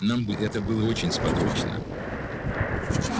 нам бы это было очень сподручно